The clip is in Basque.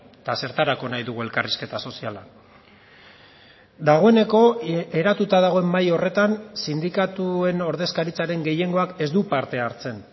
eta zertarako nahi dugu elkarrizketa soziala dagoeneko eratuta dagoen mahai horretan sindikatuen ordezkaritzaren gehiengoak ez du parte hartzen